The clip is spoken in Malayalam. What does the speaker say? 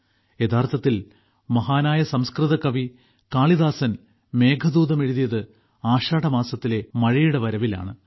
യഥാർത്ഥത്തിൽ മഹാനായ സംസ്കൃത കവി കാളിദാസൻ മേഘദൂതം എഴുതിയത് ആഷാഢമാസത്തിലെ മഴയുടെ വരവിലാണ്